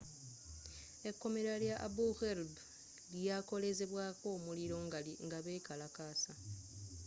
ekkomera lya abu gharib lyakolezebwaako omuliro nga bekalakasa